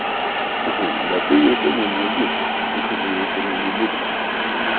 да ты её сегодня не жди её сегодня не будет